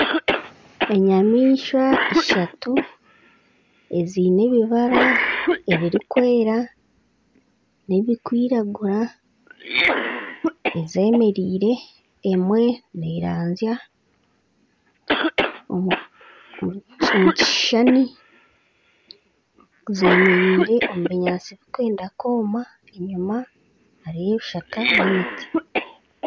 Enyamaishwa ishatu eziine ebibaara ebirikwera n'ebirikwiragura ezemeriire, emwe neeranzya omu kishushani, zeemereire omu binyaatsi birikwenda kwoma enyima hariyo ebishaka n'emiti